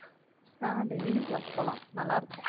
ஆஹ் daily class போலாம் நல்லா இருக்கும்